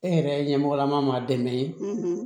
E yɛrɛ ɲɛmɔgɔlama dɛmɛ